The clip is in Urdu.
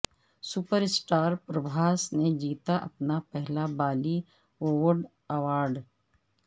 سپر اسٹار پربھاس نے جیتا اپنا پہلا بالی ووڈ ایوارڈ